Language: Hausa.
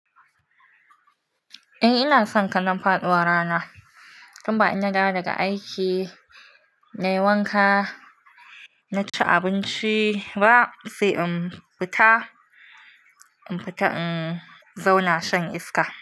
Eh ina son kalan faɗuwa rana. Tun ba ina dawo daga aiki na yi wanka, na ci abinci ba sai in fita, in fita in zauna shan iska.